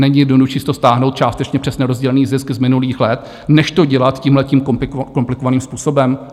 Není jednodušší si to stáhnout částečně přes nerozdělený zisk z minulých let, než to dělat tímhletím komplikovaným způsobem?